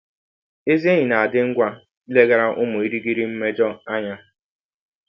Ezị enyi na - adị ngwa ileghara ụmụ ịrịghiri mmejọ anya.